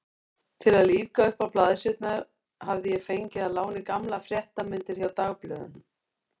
Til að lífga uppá blaðsíðurnar hafði ég fengið að láni gamlar fréttamyndir hjá dagblöðunum.